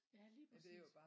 Ja lige præcis